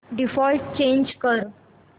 default change कर